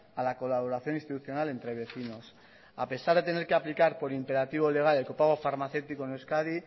a la colaboración institucional entre vecinos a pesar de tener que aplicar por imperativo legal el copago farmacéutico en euskadi